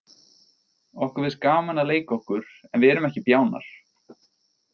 Okkur finnst gaman að leika okkur en við erum ekki bjánar.